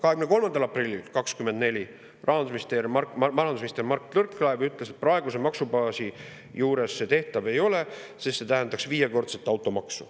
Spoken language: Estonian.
23. aprillil 2024 ütles rahandusminister Mart Võrklaev, et praeguse maksubaasi juures see tehtav ei ole, sest see tähendaks viiekordset automaksu.